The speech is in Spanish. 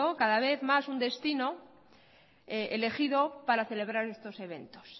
cada vez más un destino elegido para celebrar estos eventos